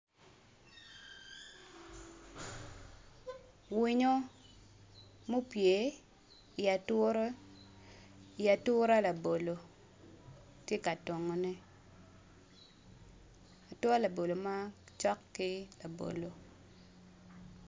Winyo mopye i ature i ature labolo tye ka tongo ne ature labolo macok ki labolo.